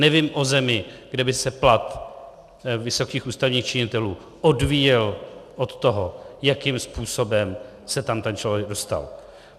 Nevím o zemi, kde by se plat vysokých ústavních činitelů odvíjel od toho, jakým způsobem se tam ten člověk dostal.